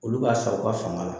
Olu b'a san u ka fanga la